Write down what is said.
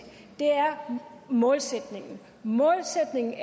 er målsætningen målsætningen er